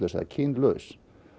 eða kynhlutlaus